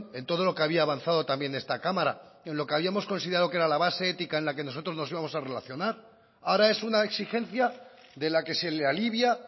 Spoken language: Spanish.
en todo lo que había avanzado también esta cámara en lo que habíamos considerado que era la base ética en la que nosotros nos íbamos a relacionar ahora es una exigencia de la que se le alivia